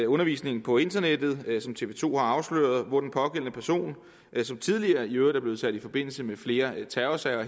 undervisning på internettet hvilket tv to har afsløret og hvor den pågældende person som tidligere i øvrigt er blevet sat i forbindelse med flere terrorsager